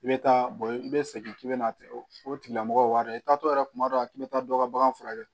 I bɛ taa i bɛ segin k'i bɛna o tigila mɔgɔ wari i t'a to yɛrɛ kuma dɔw la k'i bɛ taa dɔ ka bagan furakɛ